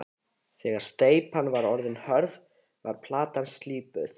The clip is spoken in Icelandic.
Þegar steypan var orðin hörð var platan slípuð.